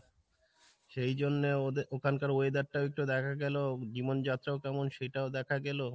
সেই জন্যে ওদের ওখানকার weather টাও একটু দেখা গেলো, জীবন যাত্রাও কেমন সেটাও দেখা গেলো।